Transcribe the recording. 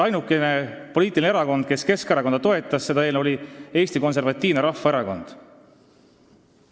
Ainuke poliitiline erakond, kes toetas Keskerakonna eelnõu, oli Eesti Konservatiivne Rahvaerakond.